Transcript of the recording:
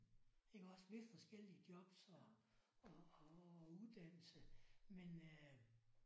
Iggås ved forskellige jobs og og og uddannelse men øh